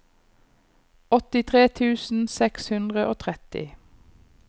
åttitre tusen seks hundre og tretti